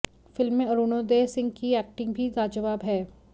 film में अरुणोदय सिंह की acting भी लाजवाब है